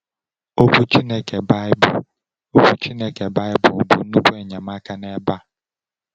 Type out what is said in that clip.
Okwu Chineke, Baịbụl, Chineke, Baịbụl, bụ nnukwu enyemaka n’ebe a.